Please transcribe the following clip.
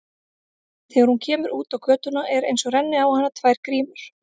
Þegar hún kemur út á götuna er einsog renni á hana tvær grímur.